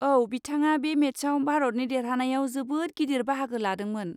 औ, बिथाङा बे मेटचआव भारतनि देरहानायाव जोबोद गिदिर बाहागो लादोंमोन।